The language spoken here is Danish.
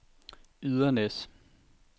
Ydernæs